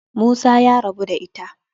Musa ya rabu da ita.